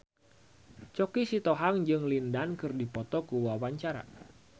Choky Sitohang jeung Lin Dan keur dipoto ku wartawan